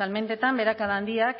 salmentetan beherakada handiak